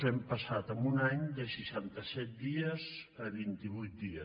hem passat en un any de seixanta set dies a vint i vuit dies